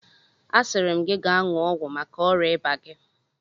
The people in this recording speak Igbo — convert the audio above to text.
Asịrị m ga ṅụọ ọgwụ maka ọrịa ịba gị!